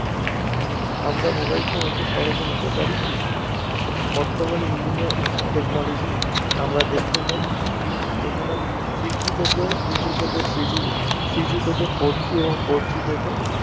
আমরা mobile phone অতি সহজেই নিতে পারি বর্তমানে বিভিন্ন technolagy আমরা দেখতে পাই যেখানে Three G থেকে two G থেকে Three G থেকে Four G এবং Four G থেকে